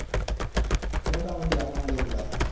মোটামুটি আলহামদুলিল্লাহ